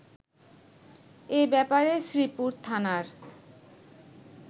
এ ব্যাপারে শ্রীপুর থানার